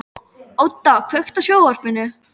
Óda, kveiktu á sjónvarpinu.